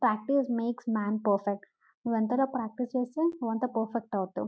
Practice makes man perfect నువ్వు ఎంతగా practice చేస్తే నువ్వు అంత పర్ఫెక్ట్ అవుతావు.